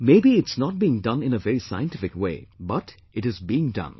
Maybe it is not being done in a very scientific way, but it is being done